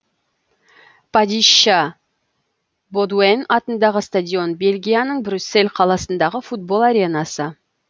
падища бодуэн атындағы стадион бельгияның брюссель қаласындағы футбол аренасы